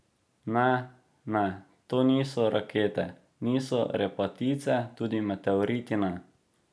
Ne, ne, to niso rakete, niso repatice, tudi meteoriti ne.